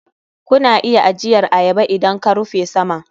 Kuna iya ajiyar ayaba idan ka rufe saman.